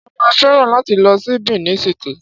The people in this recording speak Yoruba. Ṣé ó máa fẹ́ràn láti lọ ṣí Benin City?